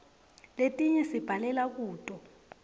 letinye sibhalela kuto